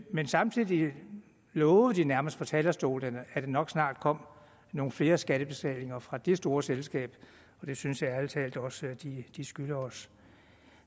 men samtidig lovede de nærmest fra talerstolen at der nok snart kommer nogle flere skattebetalinger fra det store selskab det synes jeg ærlig talt også de skylder os